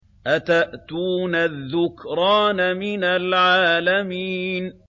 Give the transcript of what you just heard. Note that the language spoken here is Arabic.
أَتَأْتُونَ الذُّكْرَانَ مِنَ الْعَالَمِينَ